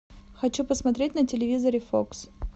хочу посмотреть на телевизоре фокс